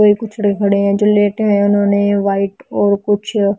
भाई कुछ पिछड़े खड़े हैं जो लेटे हैंउन्होंने वाइट और कुछ--